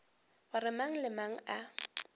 gore mang le mang a